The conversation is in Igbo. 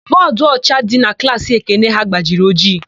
Bọọdụọcha dị na klaasị Ekene ha gbajiri ojii.